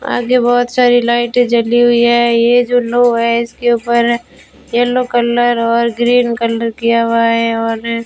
आगे बहुत सारी लाइटें जली हुई है ये जो नौ है इसके ऊपर येलो कलर और ग्रीन कलर किया हुआ है और --